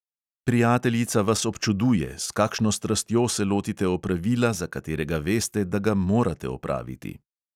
Prijateljica vas občuduje, s kakšno strastjo se lotite opravila, za katerega veste, da ga morate opraviti.